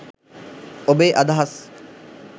ඔබේ අදහස්